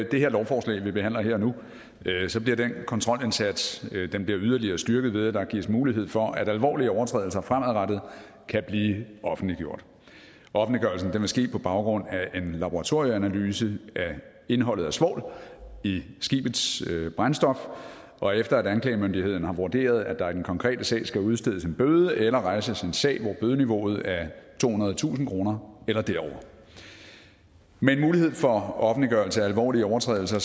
det lovforslag vi behandler her og nu bliver den kontrolindsats yderligere styrket ved at der gives mulighed for at alvorlige overtrædelser fremadrettet kan blive offentliggjort offentliggørelsen vil ske på baggrund af en laboratorieanalyse af indholdet af svovl i skibets brændstof og efter at anklagemyndigheden har vurderet at der i den konkrete sag skal udstedes en bøde eller rejses en sag hvor bødeniveauet er tohundredetusind kroner eller derover med en mulighed for offentliggørelse af alvorlige overtrædelser